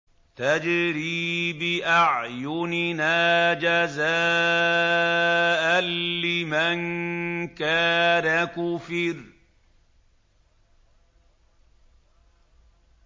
تَجْرِي بِأَعْيُنِنَا جَزَاءً لِّمَن كَانَ كُفِرَ